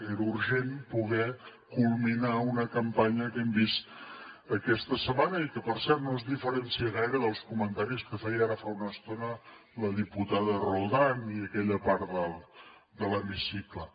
era urgent poder culminar una campanya que hem vist aquesta setmana i que per cert no es diferencia gaire dels comentaris que feia ara fa una estona la diputada roldán i aquella part de l’hemicicle